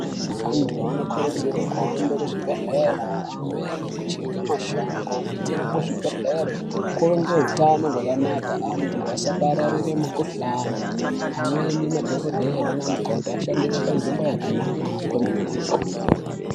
Antu anokurudzirwa kuhamba kuzvigwehlera , amweni kucheke mashango kuitira kuzvigwehleri kuve nehutano wakanaka antu asapararira mukuhlani , amweni madhongodheya nanamukoti ashandire panzvimbo yakanaka kwemene.